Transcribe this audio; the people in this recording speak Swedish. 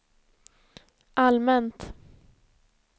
allmänt